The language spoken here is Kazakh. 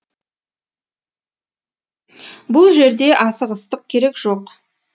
бұл жерде асығыстық керек жоқ